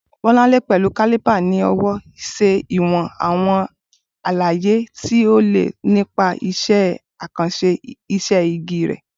Bolanle, pẹ̀lú caliper ní ọwọ́, ṣe ìwọ̀n àwọn àlàyé tí ó le nípa iṣẹ́ àkànṣe iṣẹ́ igi rẹ̀.